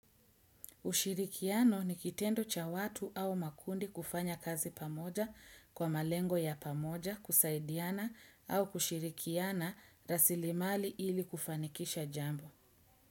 Ushirikiano ni kitendo cha watu au makundi kufanya kazi pamoja kwa malengo ya pamoja kusaidiana au kushirikiana rasilimali ili kufanikisha jambo.